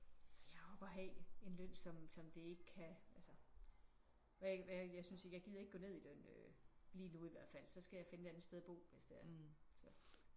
Altså jeg har jo behag en løn som som det ikke kan altså hvad hvad jeg synes ikke jeg gider ikke gå ned i løn øh lige nu i hvert fald. Så skal jeg finde et andet sted at bo hvis det er så